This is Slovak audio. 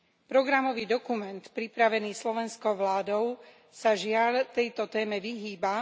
Programový dokument pripravený slovenskou vládou sa, žiaľ, tejto téme vyhýba.